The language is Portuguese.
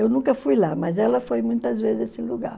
Eu nunca fui lá, mas ela foi muitas vezes a esse lugar.